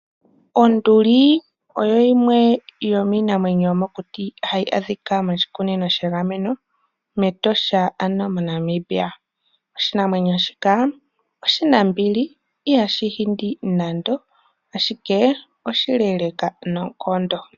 Onduli oyo yimwe yomiinamwenyo yomokuti hayi adhika moshikunino shegameno mEtosha ano moNamibia. Oshinamwenyo shika oshinambili ihashi hindi nande ashike oshileeleka noonkondo.